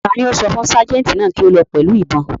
Ta ni ó sọ fún ságẹ̀ǹtì náà kí ó lọ pẹ̀lú ìbọn?